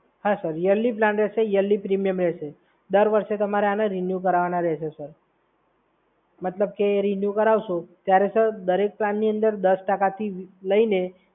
હા sir, yearly plan રહેશે, yearly premium રહેશે. દર વર્ષે તમારે આને રિન્યૂ કરાવવાના રહેશે, સર. મતલબ કે રિન્યૂ કરાવશો ત્યારે સર દરેક પ્લાનની અંદર દસ ટકા ફી લઈ લે.